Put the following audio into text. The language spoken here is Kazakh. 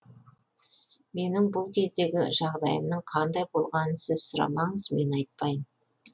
менің бұл кездегі жағдайымның қандай болғанын сіз сұрамаңыз мен айтпайын